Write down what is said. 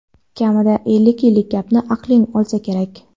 kamida ellik yillik gapni aqling olsa kerak.